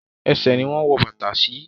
Ẹṣẹ̀ ni wọ́n wọ bàtà sí.